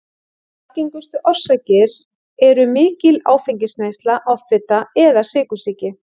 Algengustu orsakir eru mikil áfengisneysla, offita eða sykursýki.